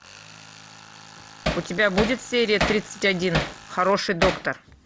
у тебя будет серия тридцать один хороший доктор